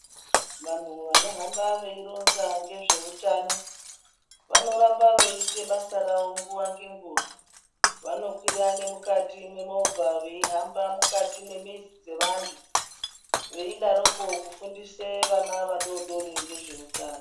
Vanhu vanohamba veironza nezveutano vanoramba veiite basa ravo nguwa ngenguwa vanokwira nemukati memovha veihamba mukati memizi dzevantu veidaroko kufundise vana vadododri ngezveutano